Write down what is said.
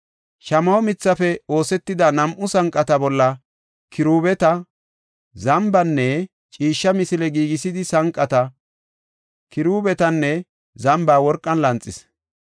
Shamaho mithafe oosetida nam7u sanqata bolla kiruubeta, zambanne ciishsha misile giigisidi sanqata, kiruubetanne zamba worqan lanxis.